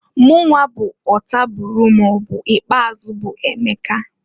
Mụnwa bụ ọtabụrụ maọbụ ikpeazụ bu Emeka.